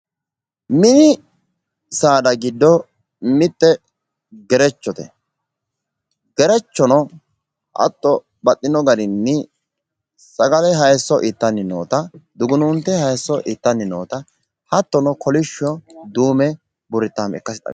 Mini saada giddo mitte gerechote tini gerechono dugunuunte hayisso ittanni noottanna kolishsho duume burrittaame ikkase xawisanno